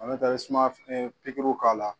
i bɛ sumaya pikiriw k'a la.